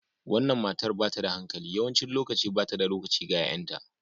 Wannan matar ba ta da alhaki. Yawancin lokaci ba ta da lokaci ga 'ya'yanta